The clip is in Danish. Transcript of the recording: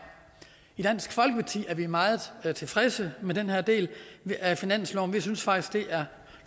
i dansk folkeparti er vi meget tilfredse med den her del af finansloven vi synes faktisk det er